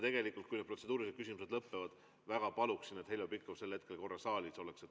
Kui need protseduurilised küsimused lõpevad, siis ma väga palun, et Heljo Pikhof sel hetkel saalis oleks.